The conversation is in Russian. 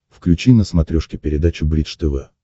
включи на смотрешке передачу бридж тв